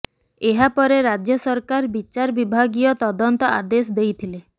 ଏହାପରେ ରାଜ୍ୟ ସରକାର ବଚାର ବିଭାଗୀୟ ତଦନ୍ତ ଆଦେଶ ଦେଇଥିଲେ